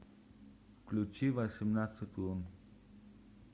включи восемнадцать лун